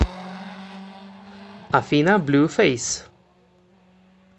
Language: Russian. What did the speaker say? афина блюфейс